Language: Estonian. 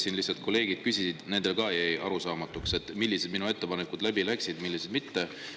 Siin lihtsalt kolleegid küsisid, nendele ka jäi arusaamatuks, millised minu ettepanekud läbi läksid, millised mitte.